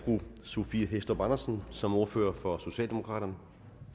fru sophie hæstorp andersen som ordfører for socialdemokraterne